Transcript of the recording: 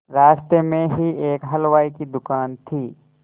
रास्ते में ही एक हलवाई की दुकान थी